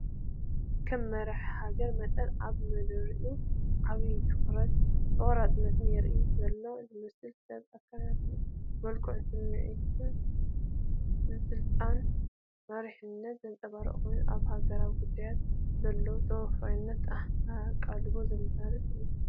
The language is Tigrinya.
ከም መራሒ ሃገር መጠን ኣብ መደረኡ ዓቢ ትኹረትን ቆራጽነትን የርኢ ዘሎ ዝመስል ሰብ፣ ኣከዳድናኡን መልክዑን ስምዒት ስልጣንን መሪሕነትን ዘንጸባርቕ ኮይኑ፡ ኣብ ሃገራዊ ጉዳያት ዘለዎ ተወፋይነትን ኣቓልቦን ዘመሓላልፍ እዩ።